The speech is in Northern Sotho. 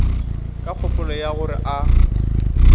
ka kgopolo ya gore a